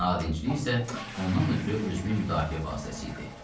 Nadinclik isə ondan ötrü özünü müdafiə vasitəsi idi.